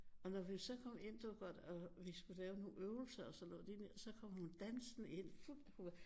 Og når vi så kom ind og vi skulle lave nogle øvelser og sådan noget så kom hun dansende ind hun var fuld af